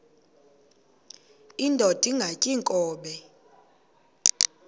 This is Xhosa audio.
indod ingaty iinkobe